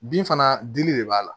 Bin fana dili de b'a la